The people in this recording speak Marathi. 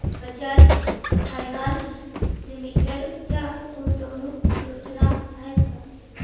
बजाज फायनान्स लिमिटेड च्या गुंतवणूक योजना आहेत का